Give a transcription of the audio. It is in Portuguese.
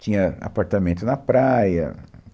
Tinha apartamento na praia.